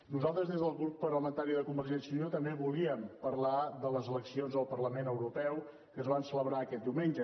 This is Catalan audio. nosaltres des del grup parlamentari de convergència i unió també volíem parlar de les eleccions al parlament europeu que es van celebrar aquest diumenge